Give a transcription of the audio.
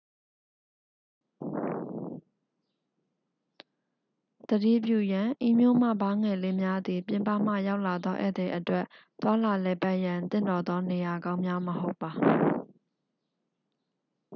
သတိပြုရန် ဤမြို့မှဘားငယ်လေးများသည် ပြင်ပမှလာရောက်သော ဧည့်သည်အတွက် သွားလာလည်ပတ်ရန် သင့်တော်သော နေရာကောင်းများမဟုတ်ပါ